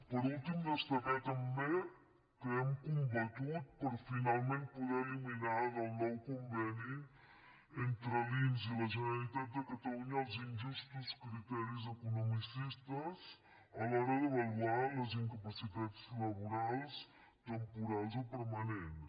per últim destacar també que hem combatut per finalment poder eliminar del nou conveni entre l’inss i la generalitat de catalunya els injustos criteris economicistes a l’hora d’avaluar les incapacitats laborals temporals o permanents